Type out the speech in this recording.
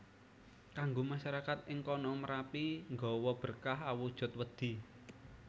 Kanggo masyarakat ing kono Merapi nggawa berkah awujud wedhi